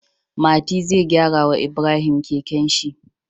Mati zai gyara wa Ibrahim kekenshi